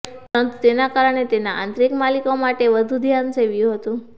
પરંતુ તેના કારણે તેના આંતરિક માલિકો માટે વધુ ધ્યાન સેવ્યું હતું